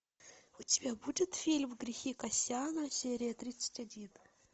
у тебя будет фильм грехи кассяна серия тридцать один